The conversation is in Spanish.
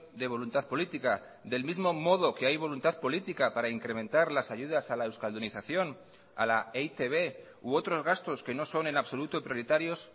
de voluntad política del mismo modo que hay voluntad política para incrementar las ayudas a la euskaldunización a la e i te be u otros gastos que no son en absoluto prioritarios